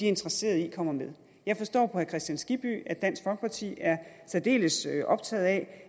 interesseret i kommer med jeg forstår på herre kristian skibby at dansk folkeparti er særdeles optaget af